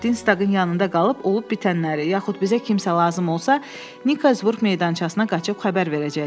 Distanqın yanında qalıb olub-bitənləri, yaxud bizə kimsə lazım olsa, Nikazburq meydançasına qaçıb xəbər verəcəksən.